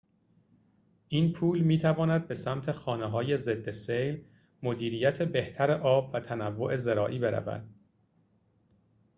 این پول می‌تواند به سمت خانه‌های ضد سیل مدیریت بهتر آب و تنوع زراعی برود